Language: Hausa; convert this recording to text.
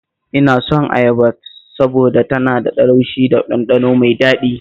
Ina son ayaba saboda tana da laushi da ɗanɗano mai daɗi